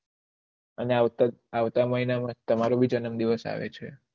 અને આવતા મહિના માં તમરો ભી જન્મ દિવસ આવે છે